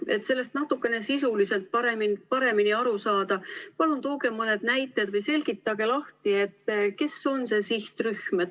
Et sellest natukene sisuliselt paremini aru saada, palun tooge mõni näide või selgitage lahti, kes on see sihtrühm.